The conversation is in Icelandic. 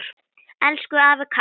Elsku afi Kári.